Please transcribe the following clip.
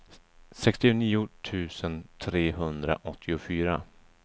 sextionio tusen trehundraåttiofyra